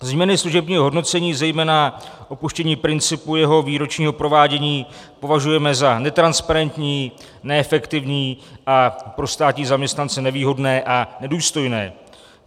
Změny služebního hodnocení, zejména opuštění principu jeho výročního provádění, považujeme za netransparentní, neefektivní a pro státní zaměstnance nevýhodné a nedůstojné.